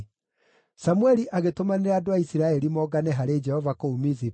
Samũeli agĩtũmanĩra andũ a Isiraeli mongane harĩ Jehova kũu Mizipa,